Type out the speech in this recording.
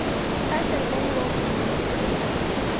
поставь альбом локоны